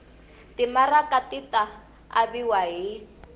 timaraka ti ta aviwa hi